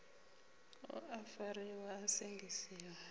u a fariwa a sengisiwa